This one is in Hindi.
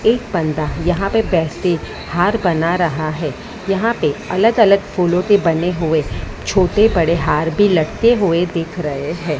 एक बंदा यहां पे हार बना रहा है यहां पे अलग-अलग फूलों के बने हुए छोटे-बड़े हार भी लटके हुए दिख रहे हैं।